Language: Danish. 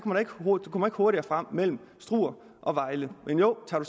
man ikke hurtigere frem mellem struer og vejle men jo tager